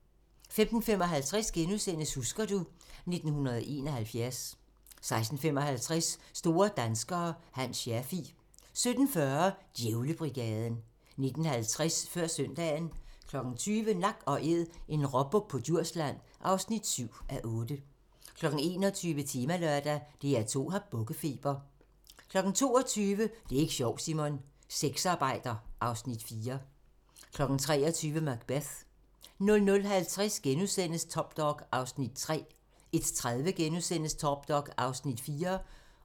15:55: Husker du ... 1971 * 16:55: Store danskere - Hans Scherfig 17:40: Djævlebrigaden 19:50: Før søndagen 20:00: Nak & Æd - en råbuk på Djursland (7:8) 21:00: Temalørdag: DR2 har bukkefeber 22:00: Det er ik' sjovt, Simon! - Sexarbejder (Afs. 4) 23:00: Macbeth 00:50: Top Dog (Afs. 3)* 01:30: Top Dog (Afs. 4)*